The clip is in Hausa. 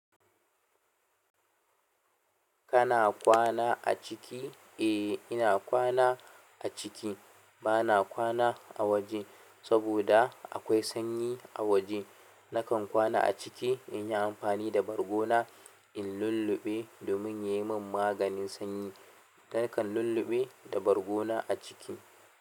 Kana kwana a ciki? Eh, ina kwana a ciki. Bana kwana a waje, saboda akwai sanyi a waje. Nakan kwana a ciki in yi amfani da bargona in lulluɓe domin ya yi min maganin sanyi. Nakan lulluɓe da bargona a ciki.